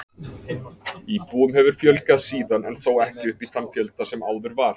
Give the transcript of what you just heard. Íbúum hefur fjölgað síðan en þó ekki upp í þann fjölda sem áður var.